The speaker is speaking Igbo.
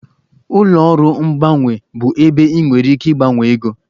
Ụlọ ọrụ mgbanwe bụ ebe ị nwere ike ịgbanwe ego